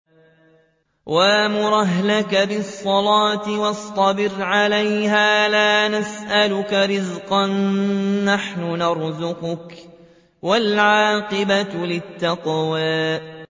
وَأْمُرْ أَهْلَكَ بِالصَّلَاةِ وَاصْطَبِرْ عَلَيْهَا ۖ لَا نَسْأَلُكَ رِزْقًا ۖ نَّحْنُ نَرْزُقُكَ ۗ وَالْعَاقِبَةُ لِلتَّقْوَىٰ